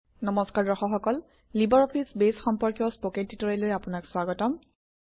নম্সকাৰ দৰ্শক সকল LibreOffice Base সম্পৰ্কীয় স্পকেন ট্যুটৰিয়েললৈ আপোনাক স্বাগতম